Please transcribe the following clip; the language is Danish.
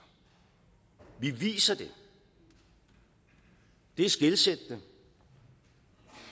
vi viser det det er skelsættende